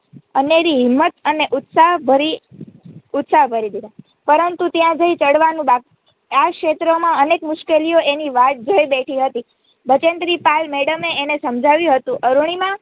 અનેરી હિંમત અને ઉત્સાહ ભરી દીધું પરંતુ ત્યાં જઈ ચઢવાનું બાકી આ ક્ષેત્રમાં અનેક મુશ્કેલીઓ એની વાટ જોતી બેઠી હતી બચેન્દ્રી પાલ મેડમે એને સમજાવ્યું હતું અરૂણિમા